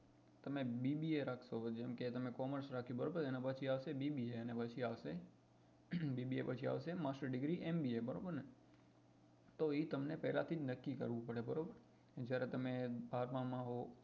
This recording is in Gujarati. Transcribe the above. તમે bba રાખશો જેમ કે તમે commerce બરાબર એના પછી આવશે bba અને પછી આવશે bba પછી આવશે master degree બરોબર ને તો એ તમને પેલા થી જ નક્કી કરવું પડે બરાબર જયારે તમે બારમાં માં હોવ